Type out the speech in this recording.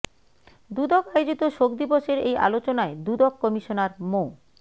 দুদক আয়োজিত শোক দিবসের এই আলোচনায় দুদক কমিশনার মো